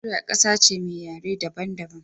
Nageria ƙasa ce me yare daban daban